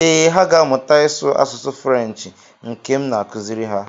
Ee, ha ga-amụta ịsụ asụsụ Frenshi nke m na-akụziri ha.